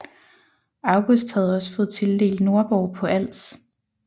August havde også fået tildelt Nordborg på Als